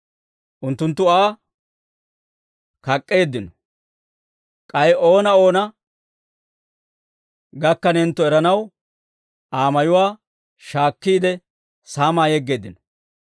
Unttunttu Aa kak'k'eeddino; k'ay oona oona gakkanentto eranaw Aa mayuwaa shaakkiide, saamaa yeggeeddino.